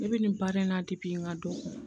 Ne bɛ nin baara in na n ka don